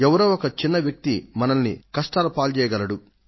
ఎవరో ఒక చిన్న వ్యక్తి మనల్ని కష్టాల పాల్జేయగలడు